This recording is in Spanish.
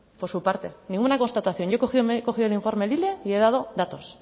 por su parte ninguna constatación yo he cogido me he cogido el informe lile y he dado datos